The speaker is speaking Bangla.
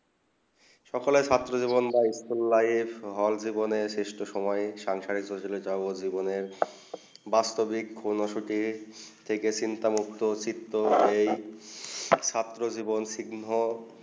সকাল ছাত্র জীবনে স্কুল লাইফ সহজ জীবন সিস্ট সময়ে সাংসারিক জীবন যায় বলে বাস্তবিক কোনসুটি থেকে চিন্তা মুক্ত এই ছাত্র জীবন চিহ্ন